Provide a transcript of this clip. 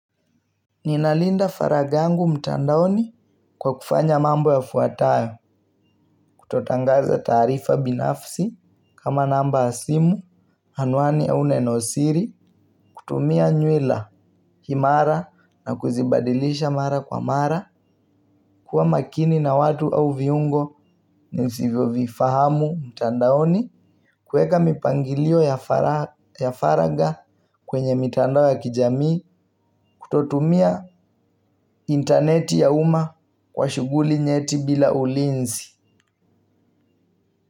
Ninalinda faragangu mtandaoni kwa kufanya mambo yafuatayo kutotangaza taarifa binafsi kama namba ya simu anuani au nenosiri kutumia nyuela himara na kuzibadilisha mara kwa mara. Kuwa makini na watu au viungo nisivyo vifahamu mtandaoni. Kueka mipangilio ya faraga kwenye mitandao ya kijamii kutotumia interneti ya uma kwa shuguli nyeti bila ulinzi.